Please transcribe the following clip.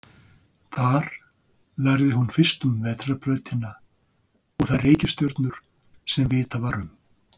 Þar lærði hún fyrst um vetrarbrautina og þær reikistjörnur sem vitað var um.